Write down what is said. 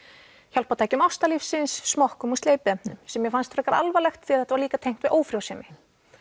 hjálpartækjum ástarlífsins smokkum og sem mér fannst frekar alvarlegt því þetta var líka tengt við ófrjósemi